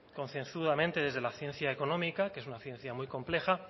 concienzudamente desde la ciencia económica que es una ciencia muy compleja